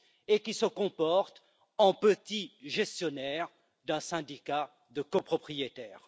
et qui se comportent en petits gestionnaires d'un syndicat de copropriétaires.